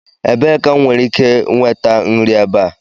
Ebee ka m nwere ike nweta nri ebe a?